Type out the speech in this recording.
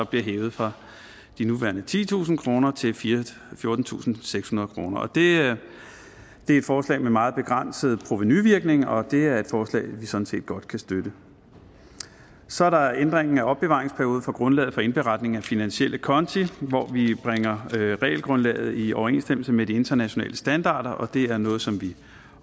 bliver hævet fra de nuværende titusind kroner til fjortentusinde og sekshundrede kroner det er et forslag med meget begrænset provenuvirkning og det er et forslag vi sådan set godt kan støtte så er der ændringen af opbevaringsperioden for grundlaget for indberetning af finansielle konti hvor vi bringer realgrundlaget i overensstemmelse med de internationale standarder og det er noget som vi